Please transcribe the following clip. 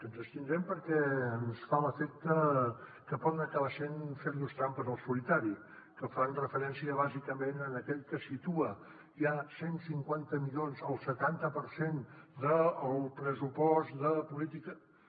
ens hi abstindrem perquè ens fa l’efecte que poden acabar sent fer nos trampes al solitari que fan referència bàsicament a aquell que situa ja cent i cinquanta milions el setanta per cent del pressupost de polítiques